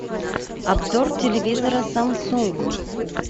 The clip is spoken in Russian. обзор телевизора самсунг